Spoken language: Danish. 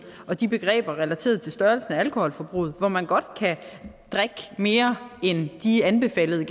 og de begreber relateret til størrelsen af alkoholforbruget hvor man godt kan drikke mere end de anbefalede